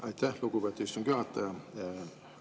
Aitäh, lugupeetud istungi juhataja!